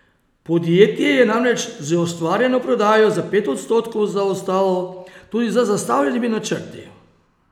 Podjetje je namreč z ustvarjeno prodajo za pet odstotkov zaostalo tudi za zastavljenimi načrti.